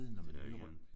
Det er ikke andet